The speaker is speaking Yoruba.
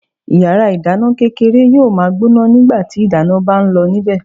Yàrá ìdáná kékeré yóò ma gbóná nígbàtí ìdáná ń bá ń lọ níbẹ̀.